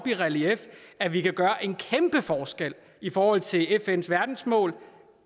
i relief at vi kan gøre en kæmpe forskel i forhold til fns verdensmål